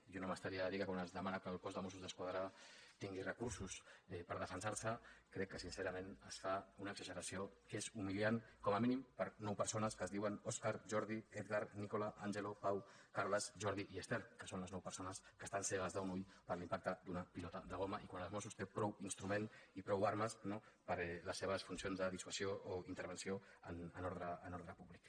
jo no m’estaria de dir que quan es demana que el cos de mossos d’esquadra tingui recursos per defensar se crec que sincerament es fa una exageració que és humiliant com a mínim nou per a persones que es diuen òscar jordi edgar nicola angelo pau carles jordi i ester que són les nou persones que estan cegues d’un ull per l’impacte d’una pilota de goma i quan els mossos tenen prou instruments i prou armes per a les seves funcions de dissuasió o intervenció en ordre públic